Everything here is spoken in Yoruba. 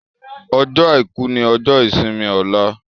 Ọjọ́ aìkú ní ojó ìsimi Ola